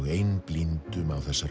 einblíndum á þessar